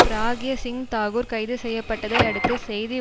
பிராக்யா சிங் தாக்குர் கைது செய்ய பட்டதை அடுத்து செய்தி